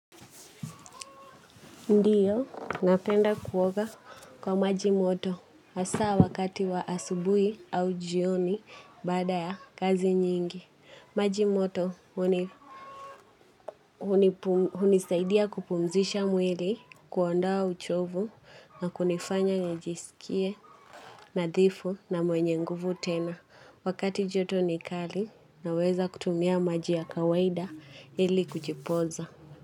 Ndiyo, napenda kuoga kwa maji moto. Hasa wakati wa asubui au jioni baada ya kazi nyingi. Maji moto hunisaidia kupumzisha mwili, kuondowa uchovu na kunifanya nijisikie nadhifu na mwenye nguvu tena. Wakati joto ni kali naweza kutumia maji ya kawaida ili kujipoza.